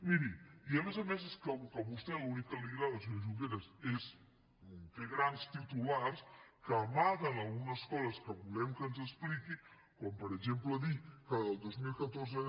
miri i a més a més és que com que a vostè l’únic que li agrada senyor junqueras és fer grans titulars que amaguen algunes coses que volem que ens expliqui com per exemple dir que del dos mil catorze